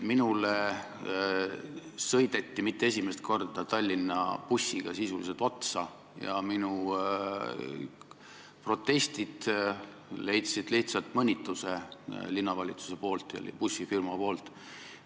Minule sõideti – ja mitte esimest korda – Tallinna bussiga sisuliselt otsa ja minu protestid tõid lihtsalt kaasa mõnitused linnavalitsuselt ja bussifirmalt.